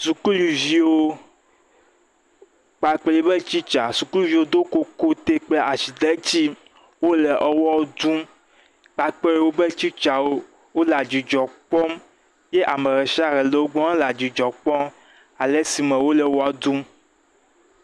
Sukuviwo kpakple yi ƒe tsitsa, sukuviwo do kokote kple azidetsi. Wole ewɔ tsum kpakple yi ƒe tsitsawo. Wole adzidzɔ kpɔm ye ame ɖe shia ɖe le wogbɔ le adzidzɔ kpɔm ale si me wole wɔa tum.